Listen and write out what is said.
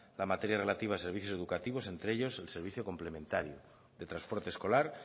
la materia relativa a los servicios educativos entre ellos el servicio complementario de transporte escolar